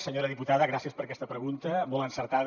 senyora diputada gràcies per aquesta pregunta molt encertada